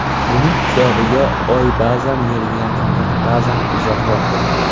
Buning hisobiga Oy ba’zan Yerga yaqinroq, ba’zan uzoqroq bo‘ladi.